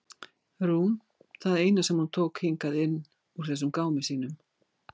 Rúm það eina sem hún tók hingað inn úr þessum gámi sínum.